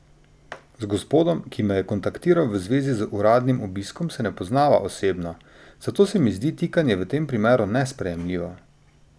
Z gospodom, ki me je kontaktiral v zvezi z uradnim obiskom, se ne poznava osebno, zato se mi zdi tikanje v tem primeru nesprejemljivo.